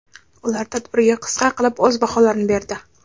Ular tadbirga qisqa qilib o‘z baholarini berdi.